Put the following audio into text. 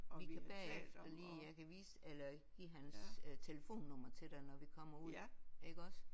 Vi kan bagefter lige jeg kan vise eller give hans telefonnummer til dig når vi kommer ud iggås